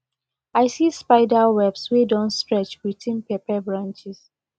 i see spider webs wey don stretch between pepper branches